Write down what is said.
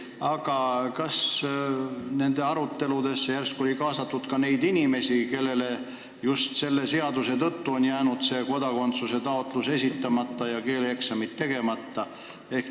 Aga kas nendesse aruteludesse oli järsku kaasatud ka neid inimesi, kellel on just selle seaduslünga tõttu jäänud kodakondsuse taotlus esitamata ja keeleeksamid tegemata?